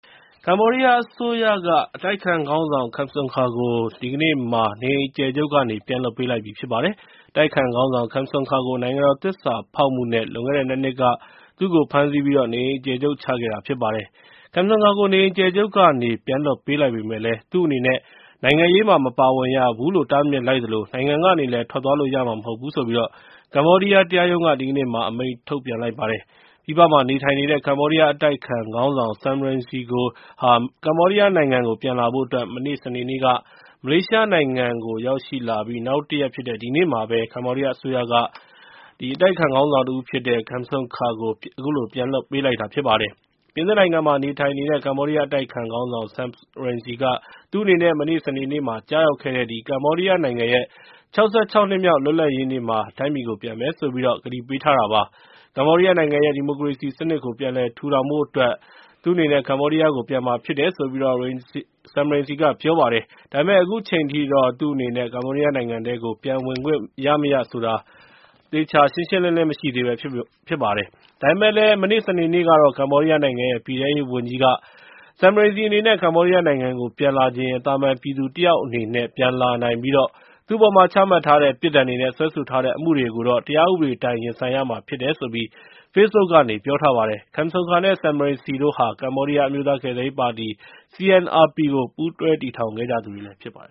ကမ္ဘောဒီးယား အစိုးရက အတိုက်အခံခေါင်းဆောင် Kem Sokha ကို နေအိမ်အကျယ်ချုပ်ကနေ ဒီကနေ့မှာ ပြန်လွှတ်ပေးလိုက်ပါတယ်။ အတိုက်အခံခေါင်းဆောင် Kem Sokha ကို နိုင်ငံတော်သစ္စာဖောက်မှုနဲ့ လွန်ခဲ့တဲ့ ၂ နှစ်က ဖမ်းဆီးပြီး နေအိမ်အကျယ်ချုပ်ချခဲ့တာ ဖြစ်ပါတယ်။ Kem Sokha ကို နေအိမ်အကျယ်ချုပ်ကနေ ပြန်လွှတ်ပေးလိုက်ပေမယ့်လည်း သူ့အနေနဲ့ နိုင်ငံရေးမှာ မပါဝင်ရဘူးလို့ တားမြစ်လိုက်သလို နိုင်ငံကနေလည်း ထွက်သွားလို့မရဘူးလို့ ကမ္ဘောဒီးယား တရားရုံးက ဒီကနေ့မှာ အမိန့်ထုတ်လိုက်ပါတယ်။ ပြည်ပမှာနေထိုင်နေတဲ့ ကမ္ဘောဒီးယား အတိုက်အခံခေါင်းဆောင် Sam Rainsy ဟာ ကမ္ဘောဒီးယားနိုင်ငံကို ပြန်လာဖို့အတွက် မနေ့ စနေနေ့က မလေးရှားနိုင်ငံကို ရောက်ရှိလာပြီး နောက်တရက်ဖြစ်တဲ့ ဒီနေ့မှာပဲ ကမ္ဘောဒီးယားအစိုးရက Kem Sokha ကို ပြန်လွှတ်ပေးလိုက်ပါတယ်။ ပြင်သစ်နိုင်ငံမှာ နေထိုင်နေတဲ့ ကမ္ဘောဒီးယား အတိုက်အခံခေါင်းဆောင် Sam Rainsy က သူ့အနေနဲ့ မနေ့ စနေနေ့က ကျရောက်တဲ့ ကမ္ဘောဒီးယားနိုင်ငံရဲ့ ၆၆ နှစ်မြောက် လွတ်လပ်ရေးနေ့မှာ တိုင်းပြည်ကို ပြန်မယ်ဆိုပြီးတော့ ကတိပေးထားတာဖြစ်ပါတယ်။ ကမ္ဘောဒီးယားနိုင်ငံရဲ့ ဒီမိုကရေစီစနစ်ကို ပြန်လည်ထူထောင်နိုင်ဖို့အတွက် ပြန်မှာဖြစ်တယ်လို့ Sam Rainsy က ပြောပါတယ်။ ဒါပေမယ့် အခုချိန်ထိတော့ Rainsy အနေနဲ့ ကမ္ဘောဒီးယားနိုင်ငံထဲကို ပြန်ဝင်ခွင့်ရမရဆိုတာ မသိရသေးပါဘူး။ ဒါပေမယ့်လည်း မနေ့ စနေနေ့ကတော့ ကမ္ဘောဒီးယားနိုင်ငံရဲ့ ပြည်ထဲရေးဝန်ကြီးကတော့ Sam Rainsy အနေနဲ့ ကမ္ဘောဒီးယားနိုင်ငံကို ပြန်လာချင်ရင် သာမန်ပြည်သူတယောက်အနေနဲ့ ပြန်လာနိုင်ပြီး သူ့အပေါ်မှာ ချမှတ်ထားတဲ့ ပြစ်ဒဏ်တွေနဲ့ စွဲဆိုထားတဲ့ အမှုတွေကိုတော့ တရားဥပဒေအတိုင်း ရင်ဆိုင်ဖြေရှင်းရမှာ ဖြစ်တယ်ဆိုပြီး Facebook ကနေ ပြောထားပါတယ်။ Kem Sokha နဲ့ Sam Rainsy တို့ဟာ ကမ္ဘောဒီးယား အမျိုးသားကယ်ဆယ်ရေးပါတီ CNRP ကို ပူးတွဲတည်ထောင်ခဲ့ကြသူတွေ ဖြစ်ပါတယ